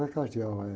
Não é, eh